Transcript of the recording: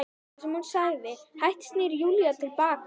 Það sem hún sagði- Hægt snýr Júlía til baka.